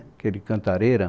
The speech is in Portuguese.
Aquele cantareira.